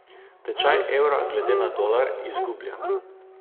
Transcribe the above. Tečaj evra glede na dolar izgublja.